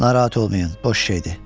Narahat olmayın, boş şeydir.